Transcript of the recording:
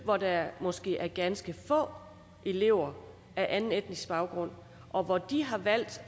hvor der måske er ganske få elever med anden etnisk baggrund og hvor de har valgt